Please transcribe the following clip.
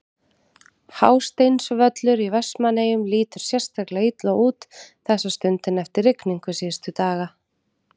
Hásteinsvöllur í Vestmannaeyjum lítur sérstaklega illa út þessa stundina eftir rigningu síðustu daga.